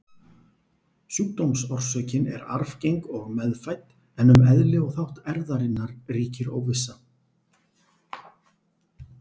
Sjúkdómsorsökin er arfgeng og meðfædd, en um eðli og þátt erfðarinnar ríkir óvissa.